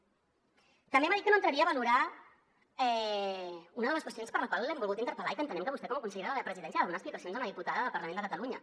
també m’ha dit que no entraria a valorar una de les qüestions per la qual l’hem volgut interpel·lar i que entenem que vostè com a consellera de la presidència ha de donar explicacions a una diputada del parlament de catalunya